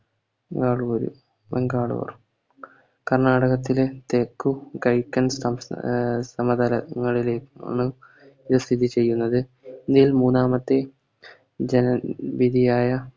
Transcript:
ബാംഗ്ലൂരു ബംഗാളൂർ കർണ്ണാടകത്തിലെ തെക്കു സംസ്ഥാ സമതലങ്ങളിലെ നിന്നും ഇവ സ്ഥിതി ചെയ്യുന്നത് ഇതിൽ മൂന്നാമത്തെ ജന നിധിയായ